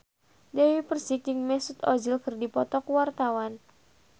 Dewi Persik jeung Mesut Ozil keur dipoto ku wartawan